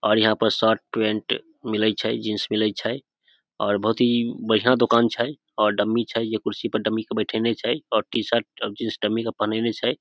और यहाँ पर शर्ट पेंट मिले छै जींस मिलय छै और बहुत ही बढ़िया दुकान छै डमी छै कुर्सी पर बैठेने छै डमी के टी-शर्ट और जींस डमी के पहिनने छै ।